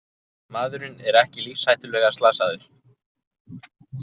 Maðurinn er ekki lífshættulega slasaður